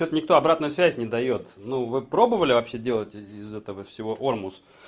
тут никто обратной связь не даёт ну вы пробовали вообще делать из-за этого всего ормус